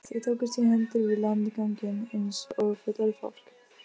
Þau tókust í hendur við landganginn eins og fullorðið fólk.